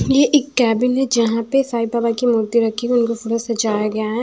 ये एक कैबिन है जहां पे साई बाबा की मूर्ति रखी हुई उनको फूलो से सजाया गया है।